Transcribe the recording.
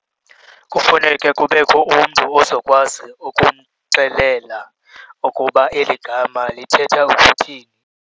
Kufuneke kubekho umntu ozokwazi ukumxelela ukuba eli gama lithetha ukuthini.